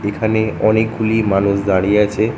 এখানে অনেকগুলি মানুষ দাঁড়িয়ে আছে।